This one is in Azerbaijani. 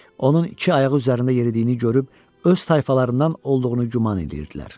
Onun iki ayağı üzərində yeridiyini görüb, öz tayfalarından olduğunu güman edirdilər.